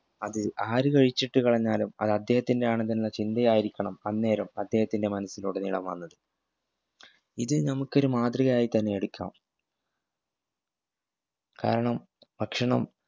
അത് ആര് കഴിച്ചിട്ട് കളഞ്ഞാലും അത് അദ്ദേഹത്തിന്റെ ആണെന്നെന്ന ചിന്ത ആയിരിക്കണം അന്നേരം അദ്ദേഹത്തിൻറെ മനസിലുടനീളം വന്നത് ഇത് നമുക്കൊരു മാതൃകയായി തന്നെയെടുക്കാം കാരണം ഭക്ഷണം